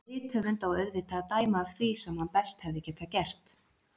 En rithöfund á auðvitað að dæma af því sem hann best hefði getað gert.